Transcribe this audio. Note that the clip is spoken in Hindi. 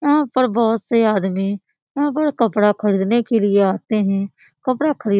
यहां पर बहुत से आदमी यहां पर कपड़ा खरीदने के लिए आते हैं कपड़ा खरीद --